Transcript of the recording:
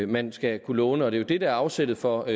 man skal kunne låne det det der er afsættet for